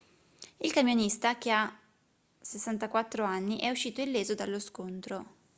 il camionista che ha 64 anni è uscito illeso dallo scontro